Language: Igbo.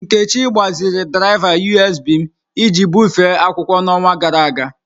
Nkechi gbaziri draịva USB m iji bufee akwụkwọ n'ọnwa gara aga.